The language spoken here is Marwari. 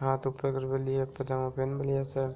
हाथ ऊपर कर मेली है पजामा पहेन मेलि है सब।